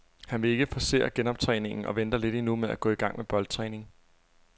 Han vil ikke forcere genoptræningen og venter lidt endnu med at gå i gang med boldtræningen.